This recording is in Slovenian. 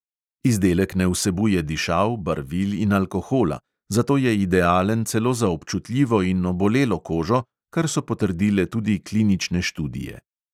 Izdelek ne vsebuje dišav, barvil in alkohola, zato je idealen celo za občutljivo in obolelo kožo, kar so potrdile tudi klinične študije.